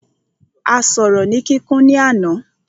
A sọ̀rọ̀ ni kíkún ní àná.